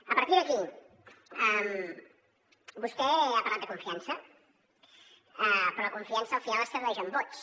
a partir d’aquí vostè ha parlat de confiança però la confiança al final es tradueix en vots